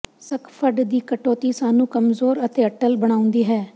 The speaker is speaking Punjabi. ਸਕੱਫਡ ਦੀ ਕਟੌਤੀ ਸਾਨੂੰ ਕਮਜ਼ੋਰ ਅਤੇ ਅਟੱਲ ਬਣਾਉਂਦੀ ਹੈ